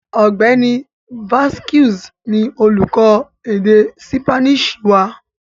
Ọ̀gbẹ́ni Vazquez ni olúkọ́ èdè Sípáníìṣì wà